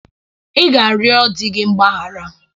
Ị ga-arịọ di gị mgbaghara